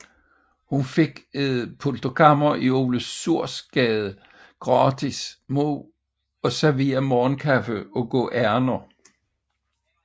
Hun fik et pulterkammer i Ole Suhrs Gade gratis mod at servere morgenkaffe og gå ærinder